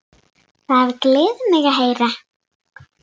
Það gleður mig að heyra.